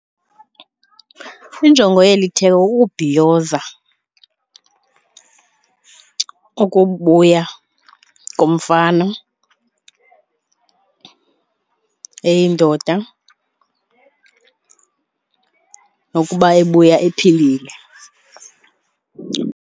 Injongo yeli theko kukubhiyoza ukubuya komfana eyindoda nokuba ebuya ephilile.